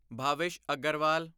Bhavish Aggarwal